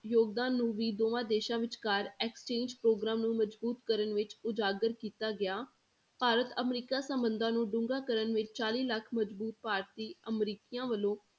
ਯੋਗਦਾਨ ਨੂੰ ਵੀ ਦੋਵਾਂ ਦੇਸਾਂ ਵਿਚਕਾਰ exchange ਪ੍ਰੋਗਰਾਮ ਨੂੰ ਮਜ਼ਬੂਤ ਕਰਨ ਵਿੱਚ ਉਜਾਗਰ ਕੀਤਾ ਗਿਆ, ਭਾਰਤ ਅਮਰੀਕਾ ਸੰਬੰਧਾਂ ਨੂੰ ਡੂੰਘਾ ਕਰਨ ਵਿੱਚ ਚਾਲੀ ਲੱਖ ਮਜ਼ਬੂਤ ਭਾਰਤੀ ਅਮਰੀਕੀਆਂ ਵੱਲੋਂ